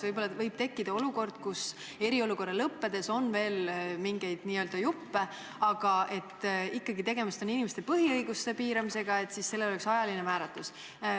Tõepoolest võib tekkida olukord, et eriolukorra lõppedes on veel mingisuguseid n-ö juppe, aga kuna tegemist on ikkagi inimeste põhiõiguste piiramisega, siis peaks sellel olema ajaline määratlus.